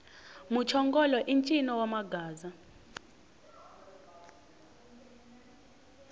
muchongolo i ncino wa magaza